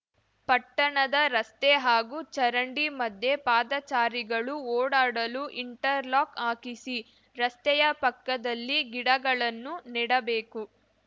ಪಟ್ಟಣದ ರಸ್ತೆ ಹಾಗೂ ಚರಂಡಿ ಮದ್ಯೆ ಪಾದಚಾರಿಗಳು ಓಡಾಡಲು ಇಂಟರ್‌ ಲಾಕ್‌ ಹಾಕಿಸಿ ರಸ್ತೆಯ ಪಕ್ಕದಲ್ಲಿ ಗಿಡಗಳನ್ನು ನೆಡಬೇಕು